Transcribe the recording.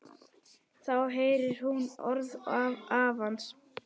Þá heyrir hún orð afans.